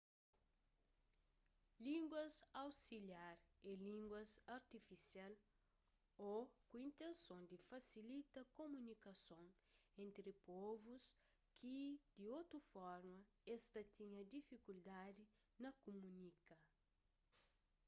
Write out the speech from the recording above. línguas ausiliar é línguas artifisial ô ku intenson di fasilita kumunikason entri povus ki di otu forma es ta tinha difikuldadi na kumunika